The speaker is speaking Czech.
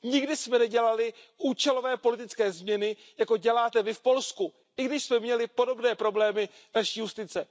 Nikdy jsme nedělali účelové politické změny, jako děláte vy v Polsku, i když jsme měli podobné problémy v naší justici.